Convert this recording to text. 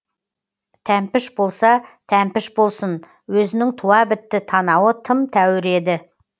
тәмпіш болса тәмпіш болсын өзінің туа бітті танауы тым тәуір еді